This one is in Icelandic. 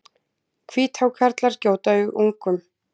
Hvíthákarlar gjóta ungum.